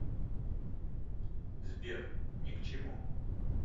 сбер ни к чему